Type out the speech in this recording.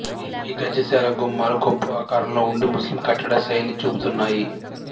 ఈ గజశాల గుమ్మాలు కొప్పు ఆకారంలో ఉండి ముస్లిం కట్టడ శైలి చూపుతున్నాయి